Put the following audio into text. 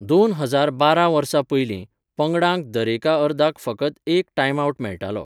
दोन हजार बारा वर्सा पयलीं, पंगडांक दरेका अर्दाक फकत एक टाइमआवट मेळटालो.